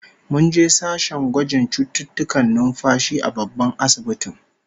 Mun je sashen gwajin cututtukan numfashi a babban asibitin